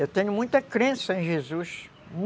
Eu tenho muita crença em Jesus.